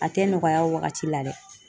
A tɛ nɔgɔya wagati la dɛ.